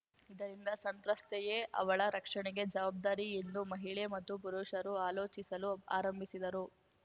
ಇದರಿಂದ ಸಂತ್ರಸ್ತೆಯೇ ಅವಳ ರಕ್ಷಣೆಗೆ ಜವಾಬ್ದಾರಿ ಎಂದು ಮಹಿಳೆ ಮತ್ತು ಪುರುಷರು ಆಲೋಚಿಸಲು ಆರಂಭಿಸಿದರು